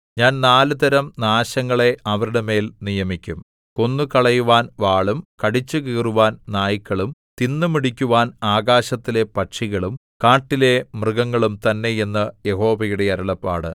ഞാൻ നാലുതരം നാശങ്ങളെ അവരുടെ മേൽ നിയമിക്കും കൊന്നുകളയുവാൻ വാളും കടിച്ചുകീറുവാൻ നായ്ക്കളും തിന്നുമുടിക്കുവാൻ ആകാശത്തിലെ പക്ഷികളും കാട്ടിലെ മൃഗങ്ങളും തന്നെ എന്ന് യഹോവയുടെ അരുളപ്പാട്